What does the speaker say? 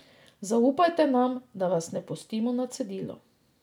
Zaupajte nam, da vas ne pustimo na cedilu.